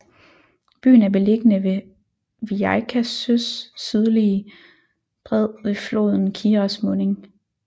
Byen er beliggende ved Viļaka søs sydlige bred ved floden Kiras munding